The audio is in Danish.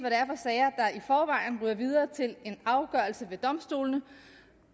hvad videre til en afgørelse ved domstolene